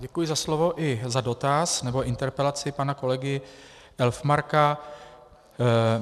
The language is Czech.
Děkuji za slovo i za dotaz nebo interpelaci pana kolegy Elfmarka.